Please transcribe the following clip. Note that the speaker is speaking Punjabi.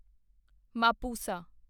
ਮਾਪੁਸਾ